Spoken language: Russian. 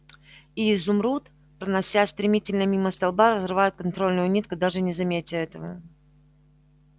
и изумруд проносясь стремительно мимо столба разрывает контрольную нитку даже не заметя этого